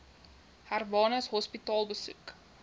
hermanus hospitaal besoek